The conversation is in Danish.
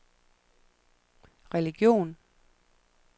religion